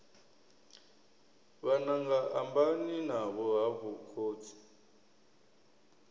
vhananga ambani navho hafhu khotsi